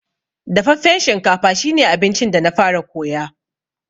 Dafaffen shinkafa shi ne abincin da na fara koya.